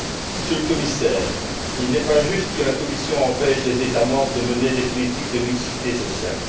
Monsieur le Commissaire, il n'est pas juste que la Commission empêche les États membres de mener des politiques de mixité sociale.